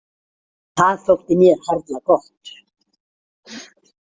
Það þótti mér harla gott.